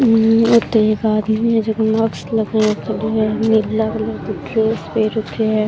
ये तो एक आदमी है जोके मास्क लगा रखेड़ो है नीला कलर की ड्रेस पेहेन राख्यो है।